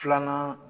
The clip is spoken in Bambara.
Filanan